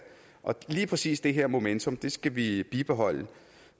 og lige præcis det her momentum skal vi bibeholde